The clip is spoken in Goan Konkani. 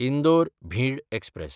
इंदोर–भिंड एक्सप्रॅस